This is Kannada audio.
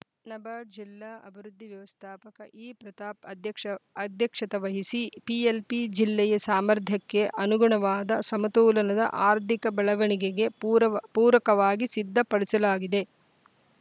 ನಬಾರ್ಡ್‌ ಜಿಲ್ಲಾ ಅಭಿವೃದ್ಧಿ ವ್ಯವಸ್ಥಾಪಕ ಇಪ್ರತಾಪ್‌ ಅಧ್ಯಕ್ಷ ಅಧ್ಯಕ್ಷತ್ತ ವಹಿಸಿ ಪಿಎಲ್‌ಪಿ ಜಿಲ್ಲೆಯ ಸಾಮರ್ಧ್ಯಾಕ್ಕೆ ಅನುಗುಣವಾದ ಸಮತೋಲನದ ಆರ್ಧಿಕ ಬೆಳವಣಿಗೆಗೆ ಪೂರವ ಪೂರಕವಾಗಿ ಸಿದ್ಧಪಡಿಸಲಾಗಿದೆ